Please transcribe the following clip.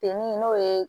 Ten n'o ye